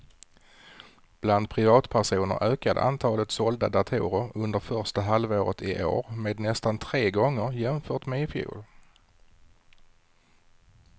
Bland privatpersoner ökade antalet sålda datorer under första halvåret i år med nästan tre gånger jämfört med i fjol.